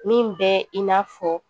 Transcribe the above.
Min bɛ i n'a fɔ